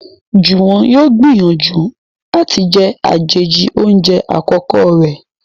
Juwon yóò n gbìyànjú àti jé àjèjì oúnjẹ àkókò rẹ